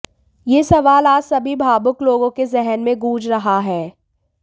यह सवाल आज सभी भावुक लोगों के जेहन में गूंज रहा है